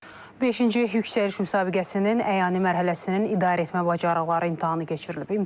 Beşinci yüksəliş müsabiqəsinin əyani mərhələsinin idarəetmə bacarıqları imtahanı keçirilib.